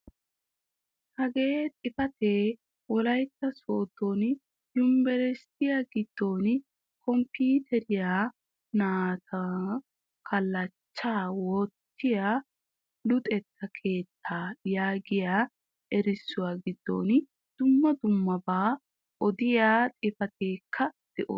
Hagee xifaatee wollayttaa sooddo yunburushiyaa giddon kompiiteriyaa naa"antto kallachchaa woyttiyaa luxxetta keettaa yaagiyaa erissuwaa giddon dumma dummabaa odiyaa xifaatetika de'oosona.